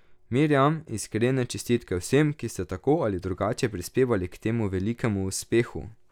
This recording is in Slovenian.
Mirjam, iskrene čestitke vsem, ki ste tako ali drugače prispevali k temu velikemu uspehu!